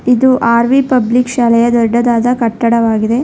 ಇದು R V public ಶಾಲೆಯ ದೊಡ್ಡದಾದ ಕಟ್ಟಡವಾಗಿದೆ.